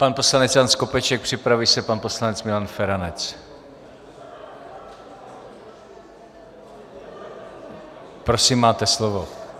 Pan poslanec Jan Skopeček, připraví se pan poslanec Milan Feranec. Prosím, máte slovo.